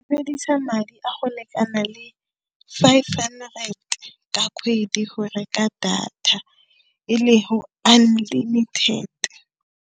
Sebedisa madi a go lekana le five hundred ka kgwedi go reka data e le unlimited.